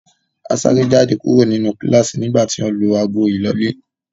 A sáré jáde kúrò nínú kíláásì nígbà tí wọ́n lu ago ìlọlẹ́.